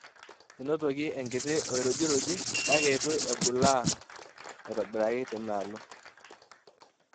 Enotoki enkiti ourujiruji kake eitu ebulaa aitobiraki te ina alo.